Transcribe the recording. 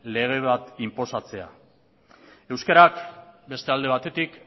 lege bat inposatzea euskarak beste alde batetik